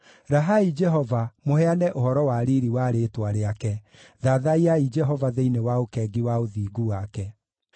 Rahai Jehova, mũheane ũhoro wa riiri wa rĩĩtwa rĩake; thathaiyai Jehova thĩinĩ wa ũkengi wa ũthingu wake.